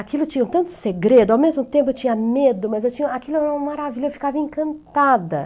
Aquilo tinha tanto segredo, ao mesmo tempo eu tinha medo, mas eu tinha, aquilo era uma maravilha, eu ficava encantada.